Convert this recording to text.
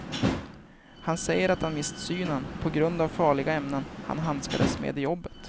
Han säger att han mist synen på grund av farliga ämnen han handskades med i jobbet.